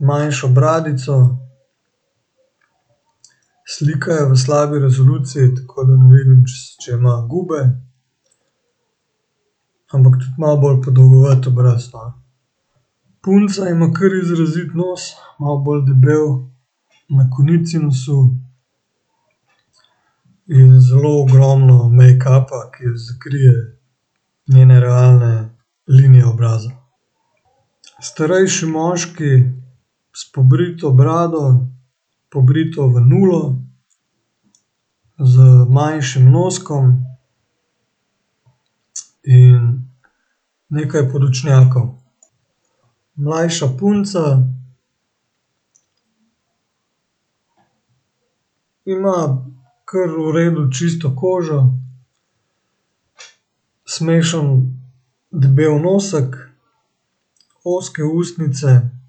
manjšo bradico. Slika je v slabi resoluciji, tako da ne vidim, če če ima gube. Ampak tudi malo bolj podolgovat obraz, no. Punca ima kar izrazit nos, malo bolj debel na konici nosu in zelo ogromno mejkapa, ki ji zakrije njene realne linije obraza. Starejši moški s pobrito brado, pobrito v nulo. Z manjšim noskom in nekaj podočnjakov. Mlajša punca ima kar v redu čisto kožo, smešen debel nosek, ozke ustnice.